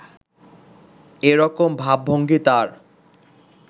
এরকম ভাব-ভঙ্গি তার